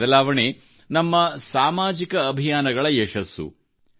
ಈ ಬದಲಾವಣೆ ನಮ್ಮ ಸಾಮಾಜಿಕ ಅಭಿಯಾನಗಳ ಯಶಸ್ಸು